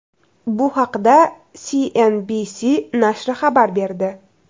Bu haqda CNBC nashri xabar berdi.